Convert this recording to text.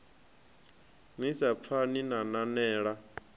ni sa pfani na nanela